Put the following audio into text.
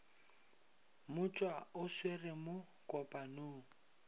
motšwa o swere mo kopanong